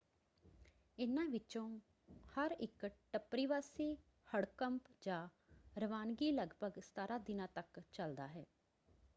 ਇਹਨਾਂ ਵਿੱਚੋਂ ਹਰ ਇੱਕ ਟੱਪਰੀਵਾਸੀ ਹੜਕੰਪ ਜਾਂ ਰਵਾਨਗੀ ਲਗਭਗ 17 ਦਿਨਾਂ ਤੱਕ ਚੱਲਦਾ ਹੈ।